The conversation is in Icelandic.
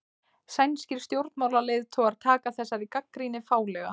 Sænskir stjórnmálaleiðtogar taka þessari gagnrýni fálega